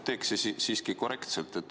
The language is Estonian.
Teeks siiski korrektselt.